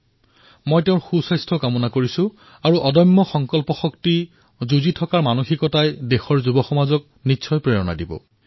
মই অভিলাস টোমীৰ উত্তম স্বাস্থ্যৰ বাবে প্ৰাৰ্থনা কৰিছোঁ আৰু তেওঁৰ এই সাহস তেওঁৰ পৰাক্ৰম তেওঁৰ সংকল্প শক্তি যুঁজা আৰু জিকাৰ শক্তিয়ে আমাৰ দেশৰ তৰুণ প্ৰজন্মক নিশ্চয় প্ৰেৰণা দিব